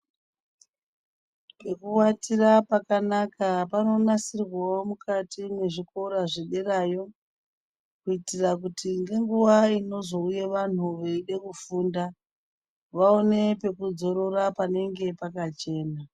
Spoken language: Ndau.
Pekuatira pakanaka panonasirwawo mukati mezvikora zvederayo kuitira nguwa inozouya vantu veida kufunda vaone pekudzorora panenge pakachena.